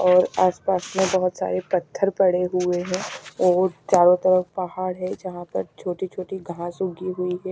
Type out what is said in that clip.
और आसपास में बहोत सारे पत्थर पड़े हुए हैं और चारों तरफ पहाड़ है जहां पर छोटी छोटी घास उगी हुई है।